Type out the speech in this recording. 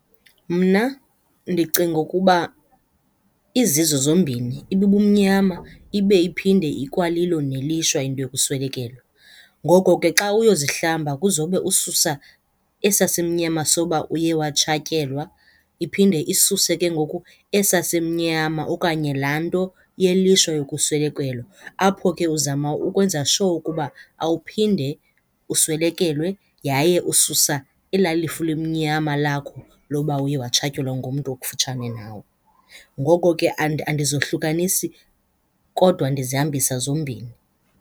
Mna ndicinga ukuba izizo zombini, ibubumnyama ibe iphinde ikwalilo nelishwa into yokuswelekelwa. Ngoko ke xa uyozihlamba kuzowube ususa esaa simnyama soba uye watshatyelwa, iphinde isuse ke ngoku esaa simnyama okanye laa nto yelishwa yokuswelekelwa. Apho ke uzama ukwenza sure ukuba awuphinde uswelekelwe yaye ususa ela lifu limnyama lakho loba uye watshatyelwa ngumntu okufutshane nawe. Ngoko ke andizohlukanisi kodwa ndizihambisa zombini.